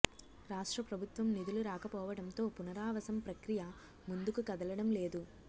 రాష్ట్ర ప్రభుత్వం నిధులు రాకపోవడంతో పునరావాసం ప్రక్రియ ముందుకు కదలడం లేదు